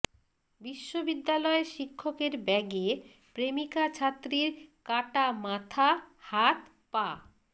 বিশ্ববিদ্যালয় শিক্ষকের ব্যাগে প্রেমিকা ছাত্রীর কাটা মাথা হাত পা